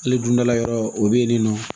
Hali dundala yɔrɔ o bɛ yen nɔ